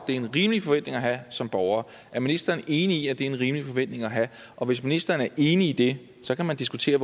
en rimelig forventning at have som borger er ministeren enig i at det er en rimelig forventning at have og hvis ministeren er enig i det så kan man diskutere